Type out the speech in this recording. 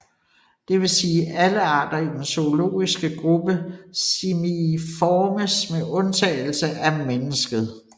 Det vil sige alle arter i den zoologiske gruppe Simiiformes med undtagelse af mennesket